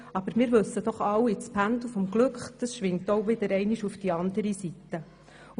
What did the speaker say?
Aber wir wissen doch alle, dass das Pendel des Glücks auch wieder einmal auf die andere Seite schwingen wird.